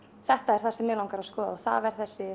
þetta er það sem mig langar að skoða og það er þessi